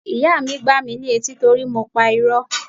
Ìyá mi gbá mi ní etí torí mo pa irọ́.